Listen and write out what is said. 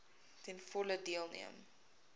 ten volle deelneem